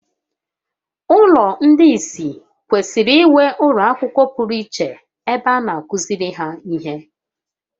Ụlọ ndị ìsì kwesịrị inwe ụlọ akwụkwọ pụrụ iche ebe a na-akụziri ha ihe